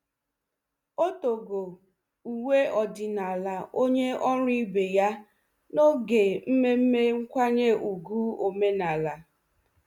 O togo uwe ọdịnala onye ọrụ ibe ya n'oge mmemme nkwanye ùgwù omenala.